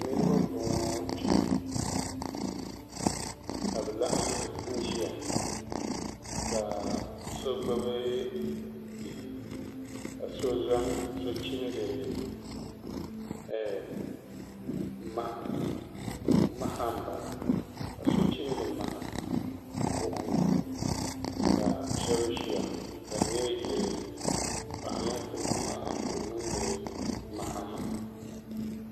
Niraba n boŋo kpɛ ka bi laɣam n ʒiya ka so gbubi bihi ka so chimdi maha buɣum ni ka shabi ʒiya ka di nyɛ yili ni paɣa ninkurigu maa ka o niŋdi maha maa